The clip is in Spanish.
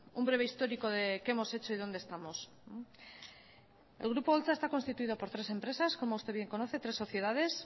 un breve histórico de qué hemos hecho y dónde estamos el grupo holtza está constituido por tres empresas como usted bien conoce tres sociedades